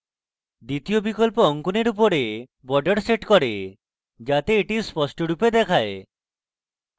দ্বিতীয় বিকল্প অঙ্কনের উপরে border sets করে যাতে the স্পষ্টরূপে দেখায়